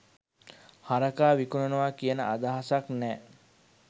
හරකා විකුණනවා කියන අදහසක් නෑ